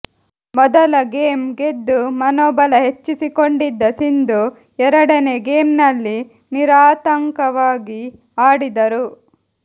ಮೊದಲ ಗೇಮ್ ಗೆದ್ದು ಮನೋಬಲ ಹೆಚ್ಚಿಸಿಕೊಂಡಿದ್ದ ಸಿಂಧು ಎರಡನೇ ಗೇಮ್ನಲ್ಲಿ ನಿರಾಂತಕವಾಗಿ ಆಡಿದರು